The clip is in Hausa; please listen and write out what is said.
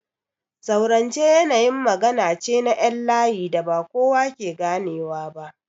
Zaurance yanayin magana ce na ƴan layi da ba kowa ke ganewa ba.